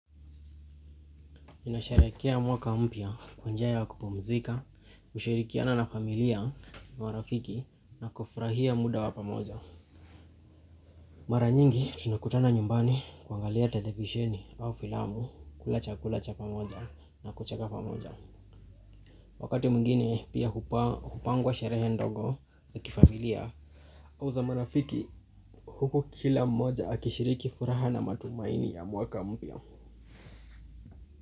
Mimi nasharekea mwaka mpya kwa njia ya kupumzika, kushirikiana na familia marafiki na kufurahia muda wa pamoja. Mara nyingi tunakutana nyumbani kuangalia televisheni au filamu kula chakula cha pamoja na kucheka pamoja. Wakati mwingine pia hupangwa sherehe ndogo ya kifamilia. Au za marafiki huku kila mmoja akishiriki furaha na matumaini ya mwaka mpya.